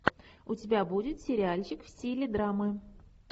у тебя будет сериальчик в стиле драмы